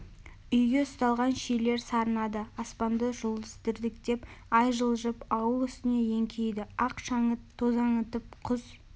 үйге ұсталған шилер сарнады аспанда жұлдыз дірдектеп ай жылжып ауыл үстіне еңкейді ақ шаңыт тозаңытып құс